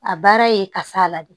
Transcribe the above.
A baara ye kasa la de